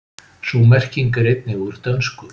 sú merking er einnig úr dönsku